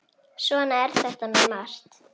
Svona er þetta með margt.